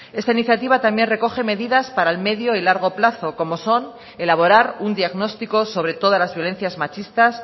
esta iniciativa también recoge medidas para el medio y largo plazo como son elaborar un diagnóstico sobre todas las violencias machistas